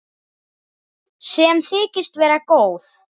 Sem þykist vera góð.